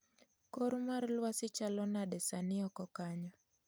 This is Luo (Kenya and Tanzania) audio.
Kor mar lwasi chalo nade sani oko kanyo